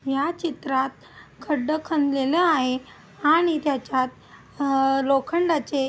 या चित्रात खड्ड खंदलेल आहे आणि त्याच्यात अ लोखंडाचे --